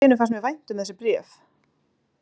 Allt í einu fannst mér vænt um þessi bréf.